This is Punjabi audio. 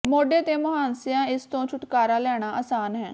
ਮੋਢੇ ਤੇ ਮੁਹਾਂਸਿਆਂ ਇਸ ਤੋਂ ਛੁਟਕਾਰਾ ਲੈਣਾ ਆਸਾਨ ਹੈ